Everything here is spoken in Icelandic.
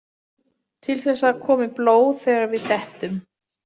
Til þess að það komi blóð þegar við dettum.